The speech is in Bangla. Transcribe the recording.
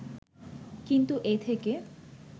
কিন্তু এ থেকে